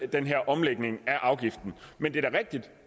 den her omlægning af afgiften men det er da rigtigt